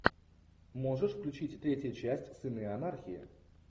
можешь включить третья часть сыны анархии